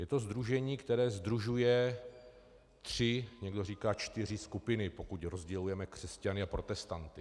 Je to sdružení, které sdružuje tři, někdo říká čtyři skupiny, pokud rozdělujeme křesťany a protestanty.